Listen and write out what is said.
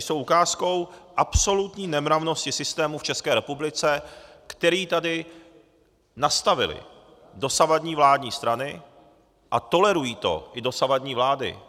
Jsou ukázkou absolutní nemravnosti systému v České republice, který tady nastavily dosavadní vládní strany, a tolerují to i dosavadní vlády.